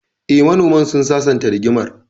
Eh, manoman sun sasanta rigimar